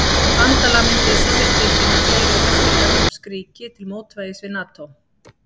Hvaða bandalag mynduðu Sovétríkin og fleiri austurevrópsk ríki til mótvægis við NATÓ?